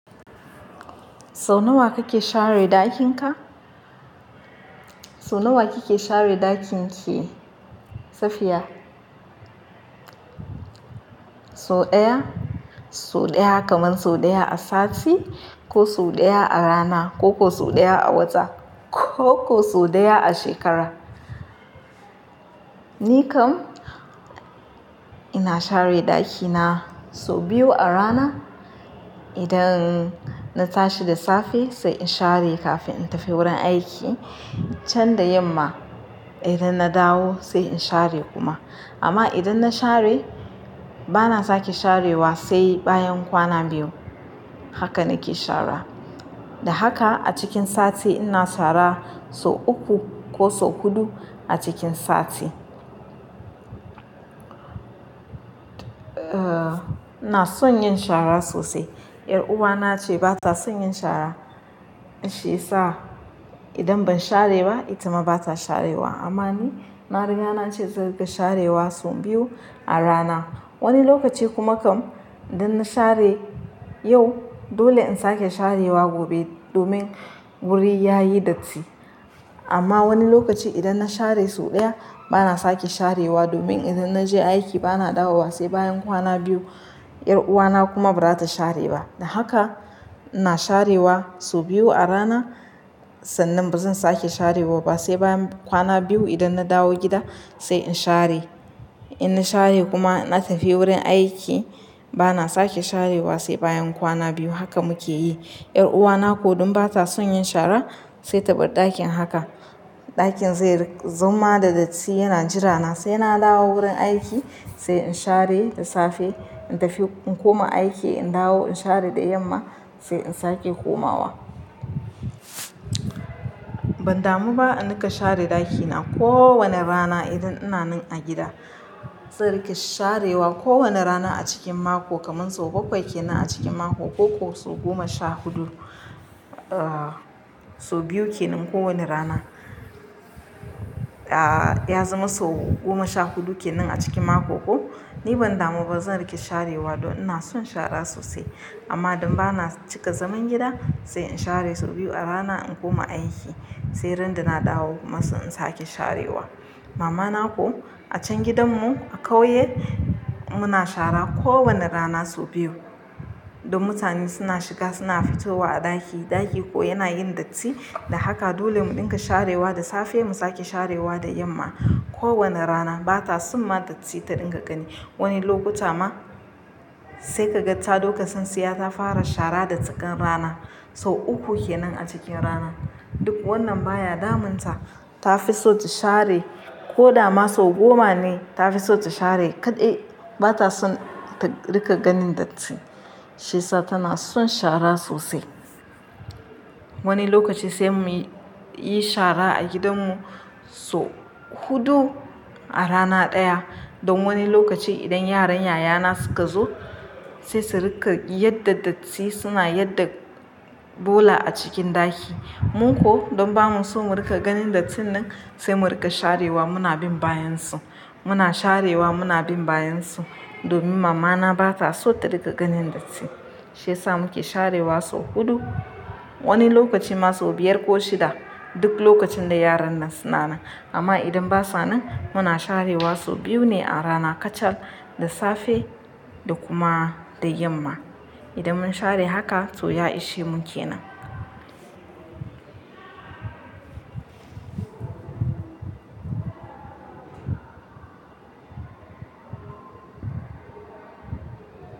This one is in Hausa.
Sau nawa kake share dakin ka? Sau nawa kike share ɗakin ki Safiya? So ɗaya, so ɗaya kaman so ɗaya a sati ko so ɗaya a rana ko ko so ɗaya a wata ko ko so ɗaya a shekara. Ni kam ina share ɗakina so biyu a rana. Idan na tashi da safe sai in share kafin in tafi wurin aiki can da yamma. Idan na dawo sai in share kuma. Amma idan na share bana sake sharewa sai bayan kwana biyu. Haka nake shara. Da haka a cikin sati ina sara so uku ko so huɗu a cikin sati. Eh, ina son yin shara sosai. 'Yar uwana ce ba ta son yin shara. Shi sa idan ban share ba, ita ma ba ta sharewa. Amma ni na riga na ce zan riƙa sharewa so biyu a rana. Wani lokaci kuma kam idan na share yau, dole in sake sharewa gobe domin wuri ya yi datti. Amma wani lokaci idan na share so ɗaya bana sake sharewa domin idan na je aiki bana dawo ba sai bayan kwana biyu. 'Yar uwana kuma ba za ta share ba. Da haka ina sharewa so biyu a rana, sannan ba zan sake sharewa ba sai bayan kwana biyu. Idan na dawo gida sai in share. In na share kuma na tafi wurin aiki bana sake sharewa sai bayan kwana biyu. Haka muke yi. 'Yar uwana ko don ba ta son yin shara sai ta bar ɗakin haka. Ɗakin zai zama da datti yana jira na. Sai na dawo wurin aiki sai in share da safe, in tafi, in koma aiki, in dawo, in share da yamma sai in sake komawa. Ban damu ba in riƙa share ɗakina kowane rana idan ina nan a gida. Zan riƙe sharewa kowane rana a cikin mako kaman sau bakwai kenan a cikin mako ko ko sau goma sha huɗu. Eh, so biyu kenan kowane rana. Ya zama sau goma sha huɗu kenan a cikin mako. Ko ni ban damu ba zan riƙa sharewa don ina son shara sosai. Amma don ba na cika zaman gida sai in share sau biyu a rana in koma aiki, sai ran da na dawo kuma sai in sake sharewa. Mama na ko a can gidanmu a kauye muna shara kowane rana sau biyu. Don mutane suna shiga suna fitowa a ɗaki. Ɗaki ko yana yin datti. Da haka dole mu dinga sharewa da safe mu sake sharewa da yamma. Ko wane rana ba ta son ma datti ta dinga gani. Wani lokuta ma sai ka ga ta doka son siya ta fara shara da tsakan rana. So uku kenan a cikin rana. Duk wannan ba ya damun ta. Ta fi so ta share ko dama sau goma ne ta fi so ta share kaɗai. Ba ta son ta riƙa ganin datti. Shiyasa tana son shara sosai. Wani lokaci sai mu yi shara a gidanmu so huɗu a rana ɗaya. Don wani lokaci idan yaran yayana suka zo sai su riƙa yadda datti suna yadda bola a cikin ɗaki. Mu ko don ba mu so mu riƙa ganin dattin nan sai mu riƙa sharewa. Muna bin bayan su. Muna sharewa. Muna bin bayan su domin mamana ba ta so ta riƙa ganin datti. Shi ya sa muke sharewa so huɗu. Wani lokaci ma sau biyar ko shida. Duk lokacin da yaran nan suna nan. Amma idan ba su nan muna sharewa sau biyu ne a rana kacal, da safe da kuma da yamma. Idan mun share haka toh ya ishemu kenan.